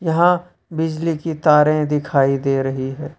यहां बिजली की तारे दिखाई दे रही है।